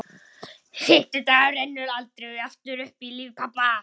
Fimmti dagurinn rennur aldrei aftur upp í lífi pabba.